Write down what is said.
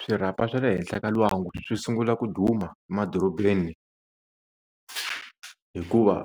Swirhapa swa le henhla ka lwangu swi sungula ku duma madorobeni hikuva